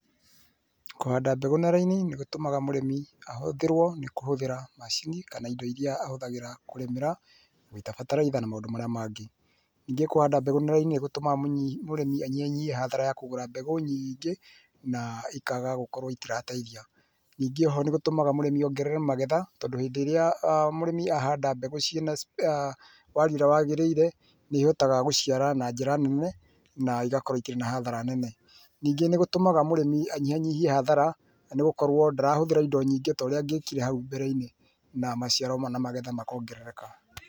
Kũhanda mbegũ na raini nĩgũtũmaga mũrĩmĩ ahũthĩrwo nĩ kũhũthĩra macini kana indo iria ahũthagĩra kũrĩmĩra ta bataraitha na maũndũ marĩa mangĩ. Ningĩ kũhanda mbegũ na raini nĩgũtũmaga mũrĩmi anyihanyihie hathara ya kũgũra mbegũ nyingĩ na ikaga gũkorwo citirateithia. Ningĩ o ho nĩgũtũmaga mũrĩmi ongerere magetha tondũ hĩndĩ ĩrĩa mũrĩmi ahanda mbegũ cina warie ũrĩa wagĩrĩire nĩihotaga gũciara na njĩra nene na igakorwo ikĩrĩ hathara nene Ningĩ nĩgũtũmaga mũrĩmi anyihanyihie hathara nĩgũkorwo ndarahũthĩra indo nyingĩ ta ũrĩa angĩkire hau mbereinĩ na maciaro na magetha makongerereka.